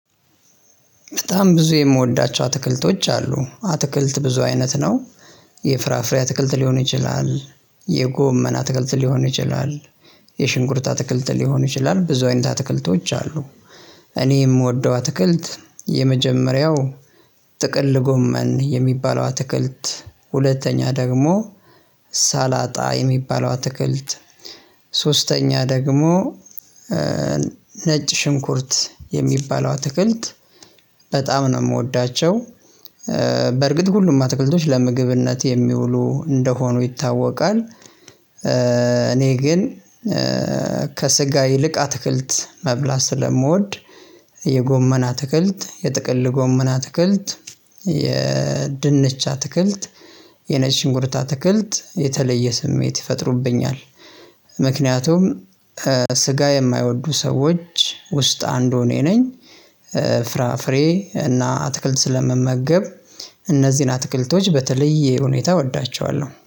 በጣም ብዙ የምወዳቸው አትክልቶች አሉ አትክልት ብዙ አይነት ነው። የፍራፍሬ አትክልት ሊሆን ይችላል የጎመን አትክልት ሊሆን ይችላል የሽንኩርት አትክልት ሊሆን ይችላል ብዙ አይነት ትክልቶች አሉ። እኔ የምወደው አትክልት የመጀመሪያው ጥቅል ጎመን የሚባለው አትክልት ሁለተኛ ደግሞ ሳላጣ የሚባለው አትክልት ሶስተኛ ደግሞ ነጭ ሽንኩርት የሚባለው አትክልት ነው የምወዳቸው በርግጥ ሁሉም አትክልቶች ለምግብነት የሚውሉ እንደሆኑ ይታወቃል እኔ ግን ከስጋ ይልቅ አትክልት መብላት ስለምወድ የጎመን አትክልት የጥቅል ጎመን አትክልት የድንች አትክልት የነጭ ሽንኩርት አትክልት የተለየ ስሜት ይፈጥሩብኛል። ምክንያቱም ስጋ የማይወዱ ሰዎች ውስጥ አንዱ እኔ ነኝ ፍራፍሬ እና አትክልት ስለምመገብ እነዚህን አትክልቶች በተለየ ሁኔታ እወዳቸዋለሁ።